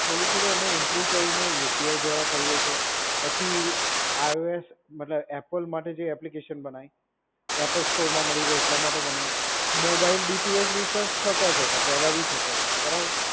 થોડું થોડું અમે ઇમ્પ્રુવ કરીને યુપીઆઈ દ્વારા કરી છે. પછી આઈઓએસ મતલબ એપલ માટે જે એપ્લિકેશન બનાવી. એપલ સ્ટોરમાં મળી રહે એટલા માટે બનાવી. મોબાઈલ ડીટુએચ રિચાર્જ થતાં જતાં. પહેલા બી થતાં હતાં. બરાબર?